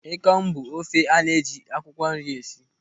Ịkọng bụ ofe a na-eji akwụkwọ nri esi.